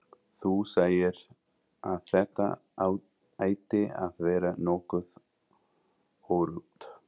Þú sagðir að þetta ætti að vera nokkuð öruggt.